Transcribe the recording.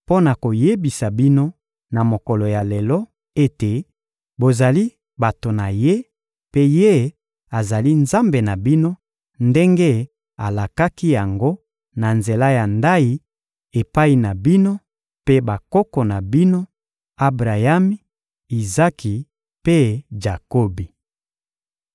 mpo na koyebisa bino, na mokolo ya lelo, ete bozali bato na Ye, mpe Ye azali Nzambe na bino ndenge alakaki yango, na nzela ya ndayi, epai na bino mpe bakoko na bino —Abrayami, Izaki mpe Jakobi.